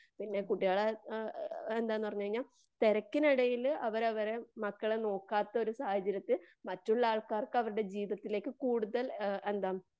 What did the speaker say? പിന്നെ കുട്ടികളെ എന്താന്ന് പറഞ്ഞുകഴിഞ്ഞാൽ തിരക്കിനിടയില് അവരവരെ മക്കളെ നോക്കത്തൊരു സാഹചര്യത്തിൽ മറ്റുള്ള ആൾക്കാർക്ക് അവരുടെ ജീവിതത്തിലേക്ക് കൂടുതൽ എന്താ?